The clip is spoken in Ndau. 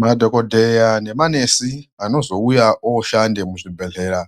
Madhokodheya nemanesi anozouya oshande muzvibhedhlera